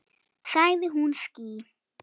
Sagði hún ský?